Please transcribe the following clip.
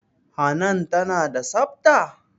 Hanan tana da tsafta?